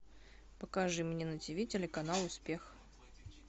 покажи мне на ти ви телеканал успех